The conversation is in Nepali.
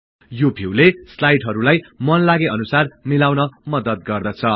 यो भिउले स्लाईडहरुलाई मनलागे अनुसार मिलाउन मद्दत गर्दछ